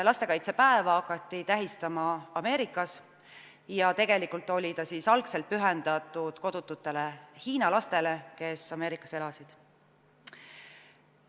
Lastekaitsepäeva hakati tähistama Ameerikas ja tegelikult oli ta algul pühendatud kodututele hiina lastele, kes Ameerikas elasid.